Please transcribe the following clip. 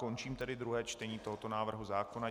Končím tedy druhé čtení tohoto návrhu zákona.